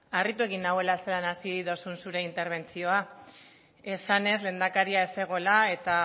harritu egin nauela zelan hasi dozun zure interbentzioa esanez lehendakaria ez zegoela eta